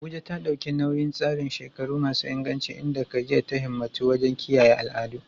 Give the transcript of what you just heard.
Abuja ta ɗauki nauyin tsarin shekaru masu inganci inda Khadija ta himmatu wajen kiyaye al'adu.